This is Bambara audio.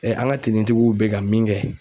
an ka tenitigiw bɛ ka min kɛ.